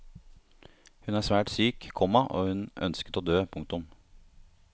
Hun var svært syk, komma og hun ønsket å dø. punktum